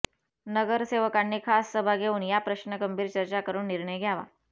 नगसेवकांनी खास सभा घेऊन या प्रश्न गंभीर चर्चा करून निर्णय घ्यावा